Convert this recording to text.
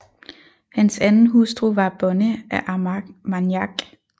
Hans anden hustru var Bonne af Armagnac